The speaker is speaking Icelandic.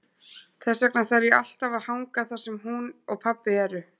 Þess vegna þarf ég alltaf að hanga þar sem hún og pabbi eru.